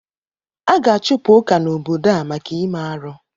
A ga-achụpụ Ụka n'obodo a maka ime arụ.